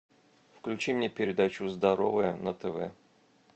включи мне передачу здоровое на тв